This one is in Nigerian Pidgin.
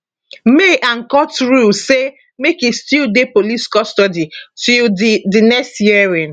may and court rule say make e still dey police custody till di di next hearing